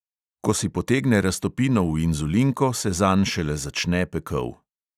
Ko si potegne raztopino v inzulinko, se zanj šele začne pekel.